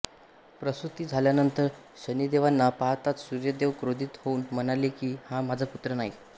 प्रसूती झाल्यानंतर शनिदेवांना पाहताच सूर्यदेव क्रोधीत होऊन म्हणाले कि हा माझा पुत्र नाही